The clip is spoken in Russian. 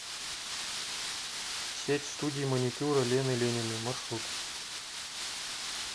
сеть студий маникюра лены лениной маршрут